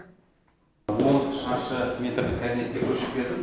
он шаршы метрлі кабинетке көшіп келдім